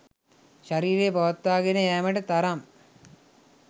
ශරීරය පවත්වාගෙන යෑමට තරම්